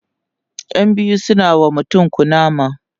ƴan biyu suna wa mutum kunama